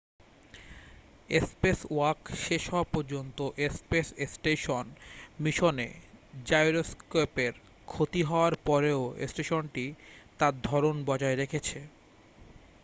spacewalk শেষ হওয়া পর্যন্ত স্পেস স্টেশন মিশনে জাইরোস্কোপের ক্ষতি হওয়ার পরেও স্টেশনটি তার ধরন বজায় রেখেছে